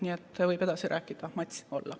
Nii et võib edasi rääkida, mats olla.